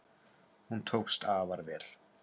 Hún tókst afar vel.